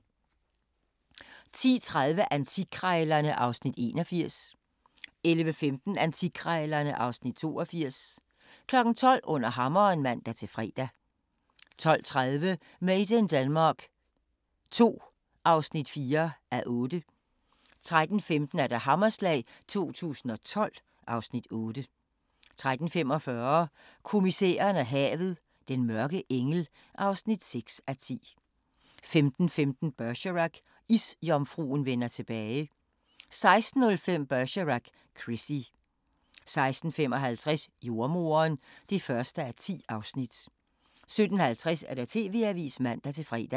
10:30: Antikkrejlerne (Afs. 81) 11:15: Antikkrejlerne (Afs. 82) 12:00: Under hammeren (man-fre) 12:30: Made in Denmark II (4:8) 13:15: Hammerslag 2012 (Afs. 8) 13:45: Kommissæren og havet: Den mørke engel (6:10) 15:15: Bergerac: Isjomfruen vender tilbage 16:05: Bergerac: Chrissie 16:55: Jordemoderen (1:10) 17:50: TV-avisen (man-fre)